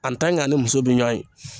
a ni muso bɛ ɲɔɔn ye